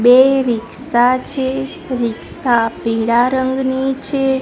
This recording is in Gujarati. બે રિક્ષા છે રિક્ષા પીડા રંગની છે.